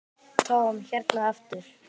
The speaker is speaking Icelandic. Tom hérna aftur.